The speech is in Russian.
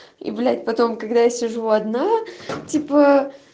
и блять потом когда я сижу в одна типа